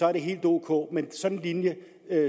er det helt ok men sådan en linje